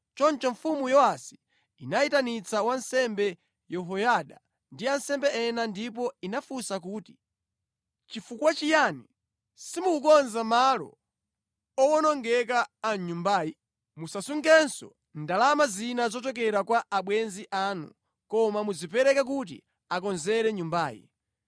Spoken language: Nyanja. Choncho Mfumu Yowasi inayitanitsa wansembe Yehoyada ndi ansembe ena ndipo inafunsa kuti, “Chifukwa chiyani simukukonza malo owonongeka a mʼnyumbayi? Musasungenso ndalama zina zochokera kwa abwenzi anu, koma muzipereke kuti akonzere nyumbayi.”